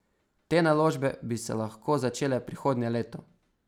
Te naložbe bi se lahko začele prihodnje leto.